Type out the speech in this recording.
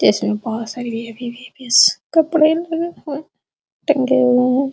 इसमें बहोत सारे कपड़े लगे हुए। टंगे हुए हैं।